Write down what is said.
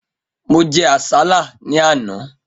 Mo jẹ àsálà ní àná.